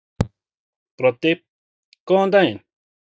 Broddi: Góðan daginn.